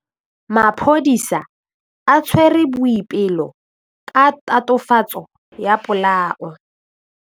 Maphodisa a tshwere Boipelo ka tatofatsô ya polaô.